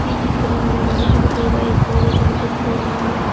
ఈ చిత్రంలో మనుషులు కూడా ఎక్కువగా కనిపిస్తూ ఉన్నారు.